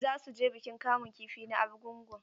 Za su je bikin kamun kifi na Argungu.